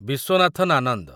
Viswanathan Anand